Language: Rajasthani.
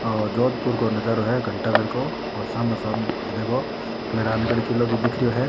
ओ जोधपुर को नजारो है घंटा घर को और सामने सामे देखो मेहरानगढ़ किलो भी दिख रियो है।